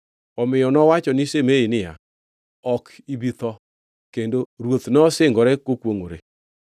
Omiyo nowacho ni Shimei niya, “Ok ibi tho.” Kendo ruoth nosingore kokwongʼore.